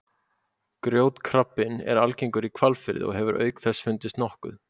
Grjótkrabbinn er algengur í Hvalfirði og hefur auk þess fundist nokkuð